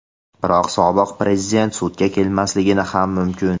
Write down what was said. Biroq sobiq Prezident sudga kelmasligi ham mumkin.